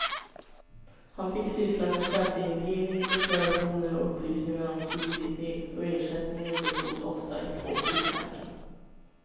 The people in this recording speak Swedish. Han fick syssla med skatteindrivning, deklarationer och upplysningar om soliditet och ersättningen bestod ofta i två frimärken.